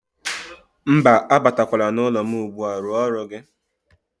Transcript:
Mba, abatakwala n'ụlọ m ugbu a, rụọ ọrụ gị.